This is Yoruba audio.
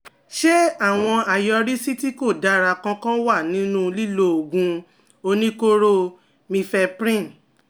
Ṣé àwọn àyọrísí tí kò dára kankan wà nínú lílo oògùn oníkóró mifeprin?